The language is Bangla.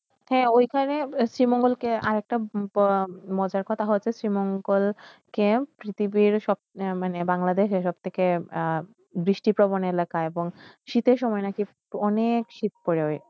হয়ে ঐখানে শ্রীমঙ্গল কে আর একটা মজার কথা শ্রী মংগোলকে পৃথিবীর সব বাংলাদেশের সবতীকে বৃষয়পবন এলাকা এবং শীতের সময় নে শীত পরেয়